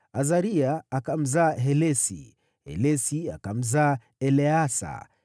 Azaria akamzaa Helesi, Helesi akamzaa Eleasa,